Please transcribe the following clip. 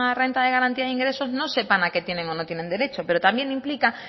renta de garantía de ingresos no sepan a que tienen o no tiene derecho pero también implica